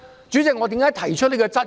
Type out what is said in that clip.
主席，為何我提出這質疑？